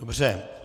Dobře.